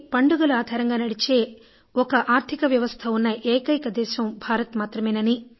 పండుగలు ఆధారంగా నడిచే ఒక ఆర్థికవ్యవస్థ ఉన్న ఏకైక దేశం భారత్ మాత్రమేనని